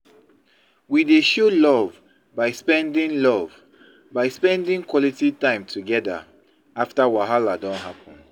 We dey show love by spending love by spending quality time together after wahala don happen.